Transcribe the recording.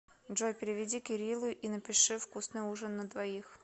джой переведи кириллу и напиши вкусный ужин на двоих